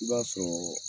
I b'a sɔrɔ